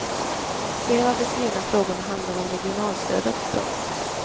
Flera av de skrivna frågorna handlar om regionalstödet. punkt